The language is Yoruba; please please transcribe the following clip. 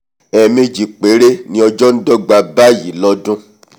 ẹ̀ẹ̀mejì péré ni ọjọ́ ndọ́ga báyìí lọ́dún